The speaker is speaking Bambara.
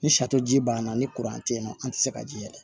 Ni ji ban na ni kuran te yen nɔ an ti se ka ji yɛlɛ